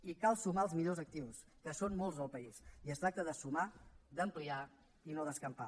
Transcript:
i cal sumar els millors actius que són molts al país i es tracta de sumar d’ampliar i no d’escampar